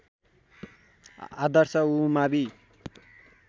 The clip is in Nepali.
आदर्श उमावि